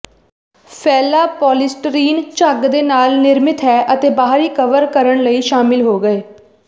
ਫੈਲਾ ਪੋਲੀਸਟੀਰੀਨ ਝੱਗ ਦੇ ਨਾਲ ਨਿਰਮਿਤ ਹੈ ਅਤੇ ਬਾਹਰੀ ਕਵਰ ਕਰਨ ਲਈ ਸ਼ਾਮਿਲ ਹੋ ਗਏ